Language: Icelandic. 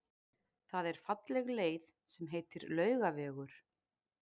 Það er falleg leið sem heitir Laugavegur.